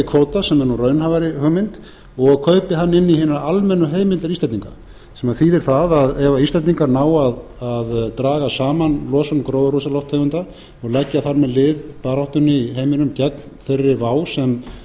kvóta sem er nú raunhæfari hugmynd og kaupi hann inn í hina almennu heimildir íslendinga sem þýðir það ef íslendingar ná að draga saman losun gróðurhúsalofttegunda og leggja þar með lið baráttunni í heiminum gegn þeirri vá sem